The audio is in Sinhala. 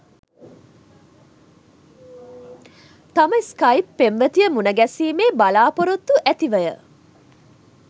තම ස්‌කයිප් පෙම්වතිය මුණගැසීමේ බලාපොරොත්තු ඇතිවය